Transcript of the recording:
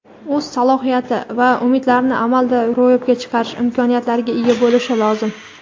o‘z salohiyat va umidlarini amalda ro‘yobga chiqarish imkoniyatlariga ega bo‘lishi lozim.